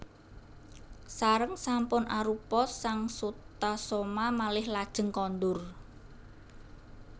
Sareng sampun arupa sang Sutasoma malih lajeng kondur